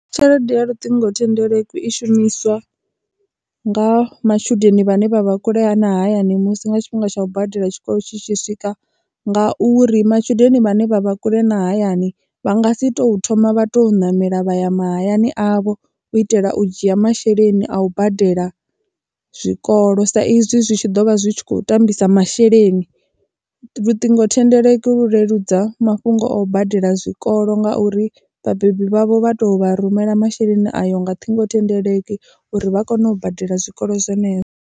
Tshelede ya luṱingothendeleki i shumiswa nga matshudeni vhane vha vha kulea na hayani musi nga tshifhinga tsha u badela tshikolo tshi tshi swika ngauri matshudeni vhane vha vha kule na hayani vha nga si to thoma vha to ṋamela vhaya mahayani avho u itela u dzhia masheleni a u badela zwikolo sa izwi zwi tshi ḓo vha zwi tshi kho tambisa masheleni. Luṱingothendeleki vhu leludza mafhungo o badela zwikolo ngauri vhabebi vhavho vha to vha rumela masheleni ayo nga ṱhingothendeleki uri vha kone u badela zwikolo zwavho zwenezwo.